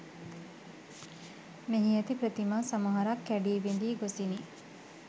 මෙහි ඇති ප්‍රතිමා සමහරක් කැඩී බිඳී ගොසිනි